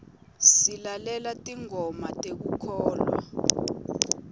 silalela tingoma tekukholwa